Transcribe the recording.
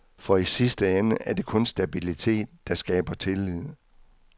For i sidste ende er det kun stabilitet, der skaber tillid.